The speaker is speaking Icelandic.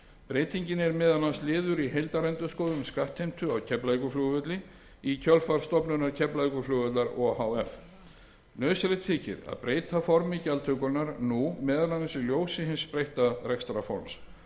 breytingin er meðal annars liður í heildarendurskoðun skattheimtu á keflavíkurflugvelli í kjölfar stofnunar keflavíkurflugvallar o h f nauðsynlegt þykir að breyta formi gjaldtökunnar nú meðal annars í ljósi hins breytta rekstrarforms